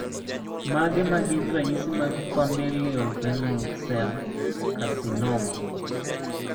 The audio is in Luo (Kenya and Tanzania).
Mage magin ranyisi mag Familial renal cell carcinoma?